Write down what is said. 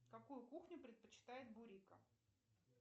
какую кухню предпочитает бурико